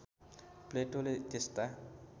प्लेटोले त्यस्ता